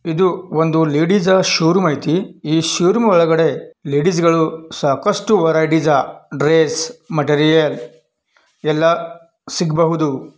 ಇದು ಒಂದು ಲೇಡೀಸ್ ಶೋವ್ರೂಂಅಯ್ತೆ. ಈ ಶೋವ್ರೂಂ ಒಳಗಡೆ ಲೇಡೀಸ್ ಗಳು ಸಹಕಷ್ಟು ವರಯ್ತೀಸ್ ಡ್ರೆಸ್ ಮೆಟೀರಿಯಲ್ ಎಲ್ಲ ಸಿಕ್ಬಹುದು.